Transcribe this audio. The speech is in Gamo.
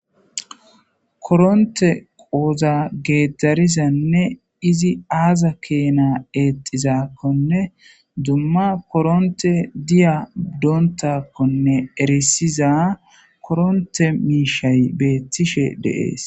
koronte qooza geetdarizanne izi aaza keena eexizakkonne dumma koronte diya doontakkonne eresiza koronte miishay beettishe de'es